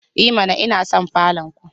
I mana! Ina son falon ku